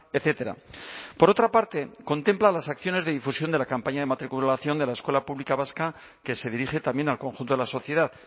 etcétera por otra parte contempla las acciones de difusión de la campaña de matriculación de la escuela pública vasca que se dirige también al conjunto de la sociedad